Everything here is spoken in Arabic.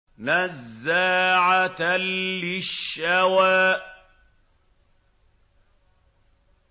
نَزَّاعَةً لِّلشَّوَىٰ